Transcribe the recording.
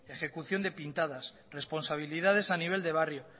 ejecución de pintadas responsabilidades a nivel de barrio